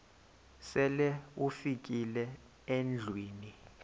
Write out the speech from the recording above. sele ufikile endlwini